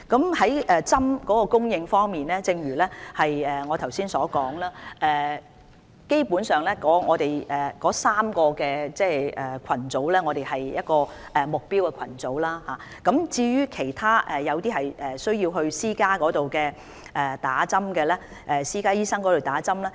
在疫苗供應方面，正如我剛才所說，基本上，我們會為3個目標群組人士接種疫苗，至於其他類別的人士則需要前往私家診所接種。